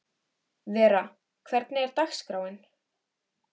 Vera, hvernig er dagskráin?